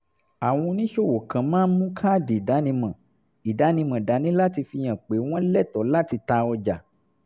àwọn oníṣòwò kan máa ń mú káàdì ìdánimọ̀ ìdánimọ̀ dání láti fi hàn pé wọ́n lẹ́tọ̀ọ́ láti ta ọjà